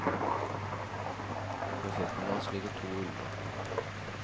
Ved føttene hans ligger to ulver.